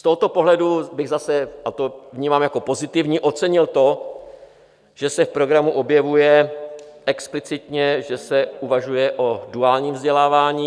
Z tohoto pohledu bych zase, a to vnímám jako pozitivum, ocenil to, že se v programu objevuje explicitně, že se uvažuje o duálním vzdělávání.